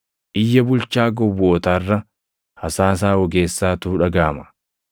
Iyya bulchaa gowwootaa irra hasaasa ogeessaatu dhagaʼama.